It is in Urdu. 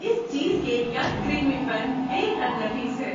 اس چیز کیک کا کریمی پن بے حد نفیس ہے۔